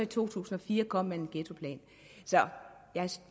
to tusind og fire kom en ghettoplan så jeg